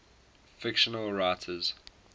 fictional writers